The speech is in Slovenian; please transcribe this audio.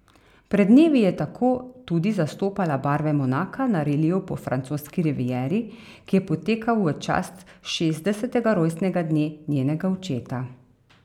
Pred dnevi je tako tudi zastopala barve Monaka na reliju po francoski rivieri, ki je potekal v čast šestdesetega rojstnega dne njenega očeta.